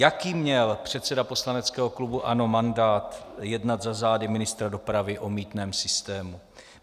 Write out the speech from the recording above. Jaký měl předseda poslaneckého klubu ANO mandát jednat za zády ministra dopravy o mýtném systému?